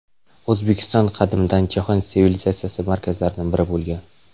O‘zbekiston qadimdan jahon sivilizatsiyasi markazlaridan biri bo‘lgan.